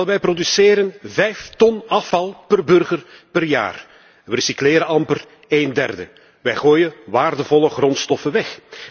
Wel, wij produceren vijf ton afval per burger per jaar. We recycleren amper één derde. Wij gooien waardevolle grondstoffen weg.